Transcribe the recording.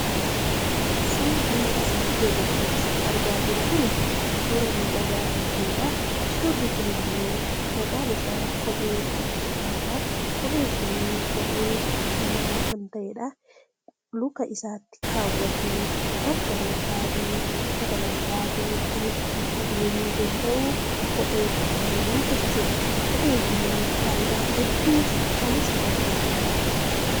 Suurri asii gadi irratti argaa jirru kuni, suura miidhagaa ta'eedha. Suurri kun ammoo maqaan isaa kophee kan jedhamuudha. Kopheen kun kophee dhiiraa kan ta'eedha. Luka isaatti kaawwatee bakka barbaadeefi lafa barbaade kan ittiin adeemuu danda'u kophee kanaani jechuudha. Kopheen kun faayidaa hedduuf kan isa gargaaruudha.